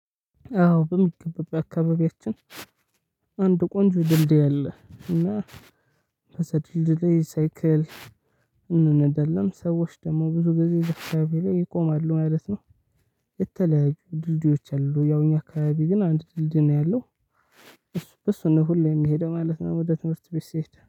አዎ በሚገባ በአካባቢያችን አንድ ቆንጆ ድልድይ አለ። እና በሰፊው ድልድይ ሳይክል እንነዳለን ሰዎች ደግሞ ብዙ ጊዜ እዛ አካባቢ ላይ ይቆማሉ ማለት ነው። የተለያዩ ድልድዮች አሉ ያው እኛ አካባቢ ግን አንድ ድልድይ ነው ያለው፤ በሱ ነው ሁሌም የምሄደው ማለት ነው ወደ ትምህርት ቤት ሲሄድ።